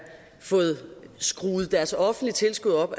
fået skruet deres offentlige tilskud op